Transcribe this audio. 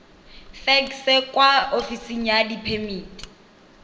fekse kwa ofising ya diphemiti